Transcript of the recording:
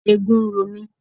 Eegun ń ro mi.